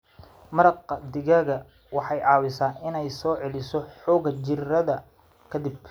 Maraq digaaga waxay caawisaa inay soo celiso xoogga jirrada ka dib.